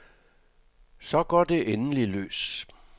Så går det endelig løs.